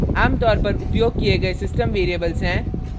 आमतौर पर उपयोग किये गए system variables हैं